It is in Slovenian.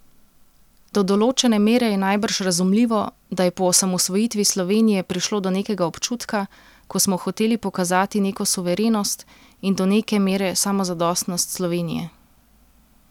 Do določene mere je najbrž razumljivo, da je po osamosvojitvi Slovenije prišlo do nekega občutka, ko smo hoteli pokazati neko suverenost in do neke mere samozadostnost Slovenije.